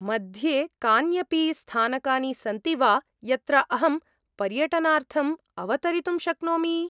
मध्ये कान्यपि स्थानकानि सन्ति वा यत्र अहं पर्यटनार्थम् अवतरितुं शक्नोमि?